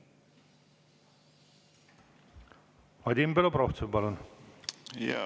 Vadim Belobrovtsev, palun!